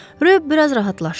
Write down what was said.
Röyo biraz rahatlaşdı.